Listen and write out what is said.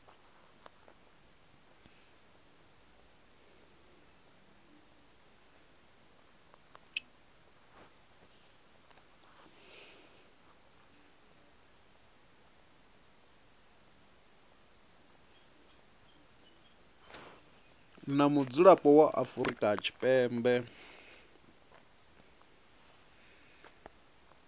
na mudzulapo wa afrika tshipembe